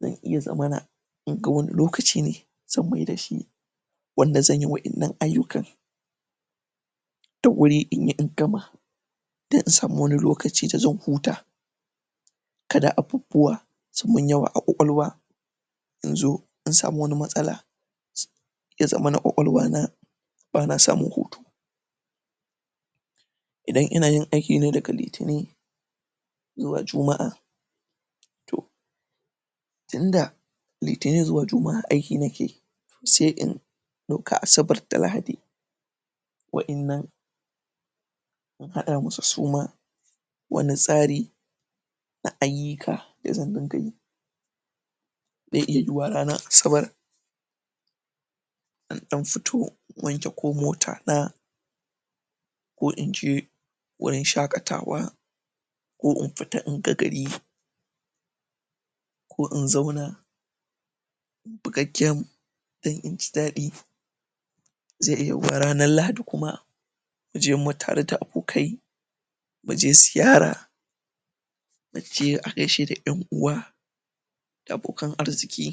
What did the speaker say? zan iya zamana inga wani lokaci ne zan mai da shi wanda zan yi waƴannan ayyuka da wuri inyi in gama dan in samo wani lokaci da zan huta kada abu wa su mun yawa a ƙaƙalwa in zo dan samu wani matsala ya zamana ƙwaƙwalwa na bana samun hutu idan inayin aikine daga litinin zuwa juma'a to tunda litinin zuwa juma'a aiki nake yi sai in ɗauka asabar da lahadi waƴannan in haɗa musu su ma wani tsari na ayyuka da zan diga yi da iya yuwa ranan asabar na dan futo wanke ko mota na ko inje wurin shakatawa ko in fita in ga gari ko in zauna buga game dan inji ɗaɗi zai iya yuwa ranan lahadi kuma na je ma tare da abokai mu je ziyara naje agaishe da ƴan uwa da abokan arziki